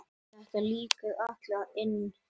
Þetta liggur allt inni